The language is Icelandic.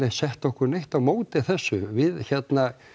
sett okkur á móti þessu við hérna